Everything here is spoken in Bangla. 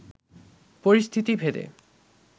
পরিস্থিতি ভেদে